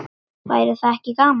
Væri það ekki gaman?